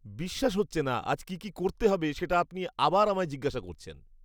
বিশ্বাস হচ্ছে না, আজ কী কী করতে হবে সেটা আপনি আবার আমায় জিজ্ঞাসা করছেন!